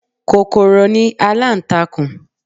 Kòkòrò ni aláǹtakùn